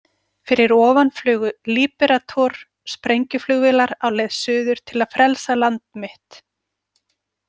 Fyrir ofan flugu Liberator- sprengjuflugvélar á leið suður til að frelsa land mitt.